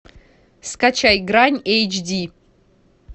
скачай грань эйч ди